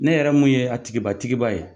Ne yɛrɛ mun ye a tigiba tigiba ye.